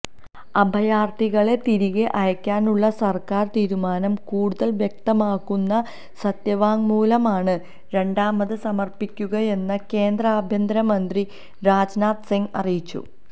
അഭയാര്ത്ഥികളെ തിരികെ അയക്കാനുള്ള സര്ക്കാര് തീരുമാനം കുടൂതല് വ്യക്തമാക്കുന്ന സത്യവാങ്മൂലമാണ് രണ്ടാമത് സമര്പ്പിക്കുകയെന്ന് കേന്ദ്ര ആഭ്യന്തരമന്ത്രി രാജ്നാഥ് സിങ് അറിയിച്ചു